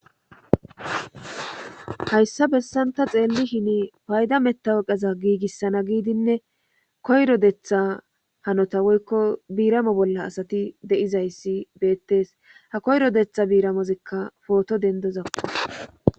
Hayssa bessan ta xeellishini payda mettaweqeza giigissana giidinne koyro detha hanota woykko biiramo bolla asati de7izayssi beettees ha koyro detha biiramozikka pooto dendozako.